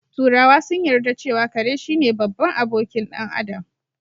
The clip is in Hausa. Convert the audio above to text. Turawa sun yarda cewa kare shine babban abokin ɗan Adam